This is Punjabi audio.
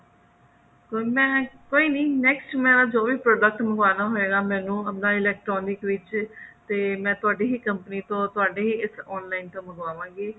mam ਕੋਈ ਨੀ next ਮੇਰਾ ਜੋ ਵੀ product ਮੰਗਵਾਉਣਾ ਹੋਇਗਾ ਮੈਨੂੰ ਆਪਣਾ electronic ਵਿੱਚ ਤੇ ਮੈਂ ਤੁਹਾਡੀ ਹੀ company ਤੋਂ ਤੁਹਾਡੇ ਹੀ ਇਸ online ਤੋਂ ਹੀ ਮੰਗਵਾ ਗੀ